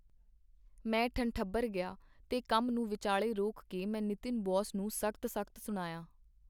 ਮੈਂ ਠੰਠਬਰ ਗਿਆ, ਤੇ ਕੰਮ ਨੂੰ ਵਿਚਾਲੇ ਰੋਕ ਕੇ ਮੈਂ ਨਿਤਿਨ ਬੋਸ ਨੂੰ ਸਖਤ ਸਖਤ ਸੁਣਾਇਆਂ.